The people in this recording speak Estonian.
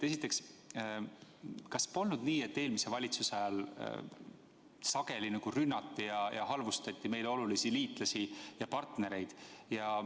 Esiteks, kas polnud nii, et eelmise valitsuse ajal sageli rünnati ja halvustati meile olulisi liitlasi ja partnereid?